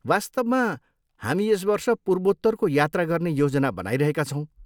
वास्तवमा, हामी यस वर्ष पूर्वोत्तरको यात्रा गर्ने योजना बनाइरहेका छौँ।